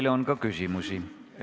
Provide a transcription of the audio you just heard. Teile on ka küsimusi.